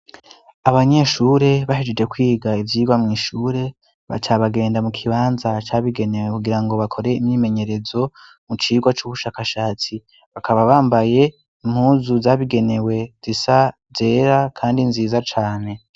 Abanyeshure bahejeje kwiga ivyigwa mw'ishure, baca bagenda mu kibanza cabigenewe kugira ngo bakore imyimenyerezo mu cigwa c'ubushakashatsi, bakaba bambaye impuzu zabigenewe zisa, zera kandi nziza cane.